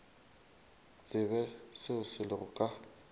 tsebe seo se lego ka